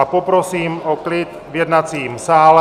A poprosím o klid v jednacím sále.